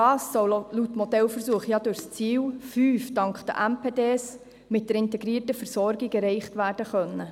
Das soll laut Ziel 5 des Modellversuchs ja dank den MPD mit der integrierten Versorgung erreicht werden können.